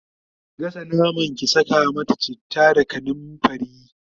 ki gasa naman, ki Saka mata chitta da kanumfari!